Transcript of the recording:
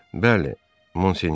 Bəli, Monsignor.